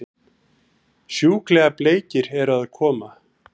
Sjúklega bleikir eru að koma!